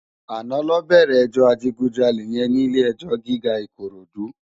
Àná lò bèrè èjò àjigúnjàlé yèn ni ilé èjò gigá Ikorodu